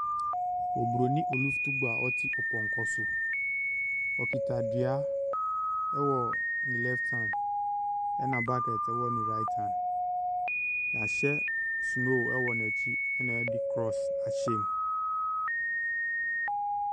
Nnipakuo bi ato santene nenam baabi a ebi pɔnkɔ so. Ebi nam fam. Ebi nso kura nnua da wɔn kɔn ho. Nwura wɔ hɔ. Adan nso sisi hɔ.